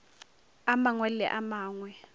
a mangwe le a mangwe